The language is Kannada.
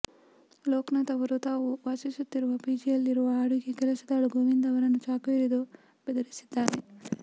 ಲೋಕನಾಥ್ ಅವರು ತಾವು ವಾಸಿಸುತ್ತಿರುವ ಪಿಜಿಯಲ್ಲಿರುವ ಅಡುಗೆ ಕೆಲಸದಾಳು ಗೋವಿಂದ ಅವರನ್ನು ಚಾಕು ಹಿಡಿದು ಬೆದರಿಸಿದ್ದಾರೆ